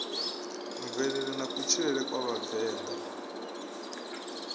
mvelele na kutshilele kwa vhavenḓa